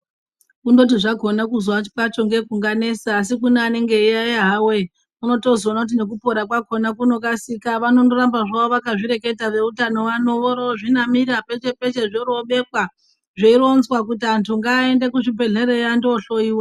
Kungoti zvakona kuzwa kwacho ngekunganesa asi kune anenge eiyayeya hawo eh unotozoona kuti nekupora kwakona kunokasika vanondoramba zvavo vakazvireketa veutano vano vorozvinamira peshe peshe zvorobekwa zveironzwa kuti antu ngaaende kuzvibhedhleyayo andohloyiwa.